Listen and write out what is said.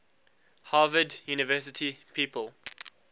harvard university people